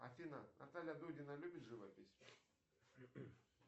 афина наталья дудина любит живопись